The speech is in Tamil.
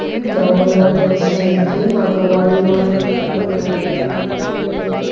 கிரவுண்ட்லாம் பெருசா இருக்கு அங்க வாலிபால் வள்லனா